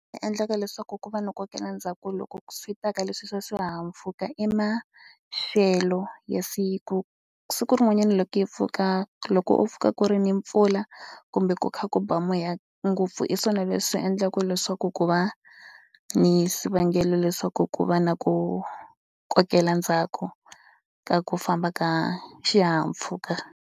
Endleka leswaku ku va ni ku kokela ndzhaku loko swi ta ka leswi swa swihahampfhuka i maxelo ya siku. Siku rin'wanyana loko yi pfuka loko u pfuka ku ri ni mpfula kumbe ku kha ku ba moya ngopfu hi swona leswi endlaka leswaku ku va ni swivangelo leswaku ku va na ku kokela ndzhaku ka ku famba ka xihahampfhuka.